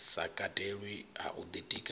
sa katelwi ha u ḓitika